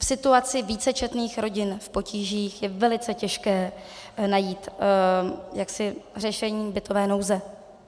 V situaci vícečetných rodin v potížích je velice těžké najít řešení bytové nouze.